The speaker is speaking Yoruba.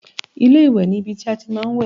Ilé-ìwẹ̀ ni ibi tí a ti máa ń wẹ̀